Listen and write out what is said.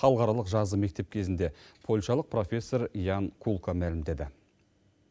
халықаралық жазғы мектеп кезінде польшалық профессор ян кулка мәлімдеді